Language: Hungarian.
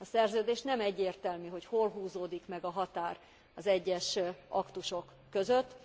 A Szerződés szerint nem egyértelmű, hogy hol húzódik meg a határ az egyes aktusok között.